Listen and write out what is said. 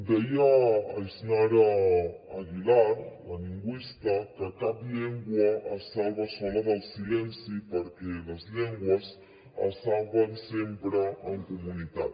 deia yásnaya aguilar la lingüista que cap llengua es salva sola del silenci perquè les llengües es salven sempre en comunitat